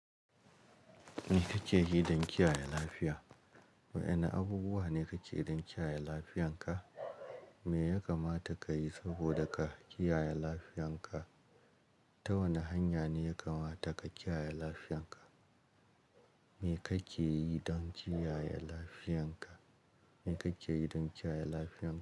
Me kake yi don kiyaye lafiya? Waɗanne abubuwa ne kake yi don kiyaye lafiyarka? Me ya kamata ka yi saboda ka kiyaye lafiyarka? Ta wane hanya ne ya kamata ka kiyaye lafiyanka? Me kake yi don kiyaye lafiyanka? Me kake yi don kiyaye lafiyarka?